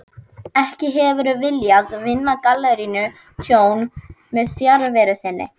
Ekki hefurðu viljað vinna galleríinu tjón með fjarveru þinni?